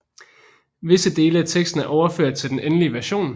Visse dele af teksten er overført til den endelige version